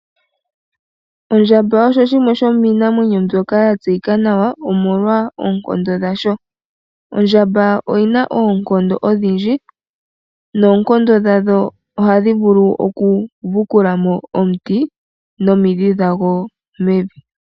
Ondjamba osho shimwe shomii namwenyo mbyoka ya tseyikwa nawa, omolwa oonkondo dhasho. Ondjamba oyina oonkondo odhindji, noonkondo dhadho ohadhi vulu oku vukulamo omuti nomidhi dhago mevi.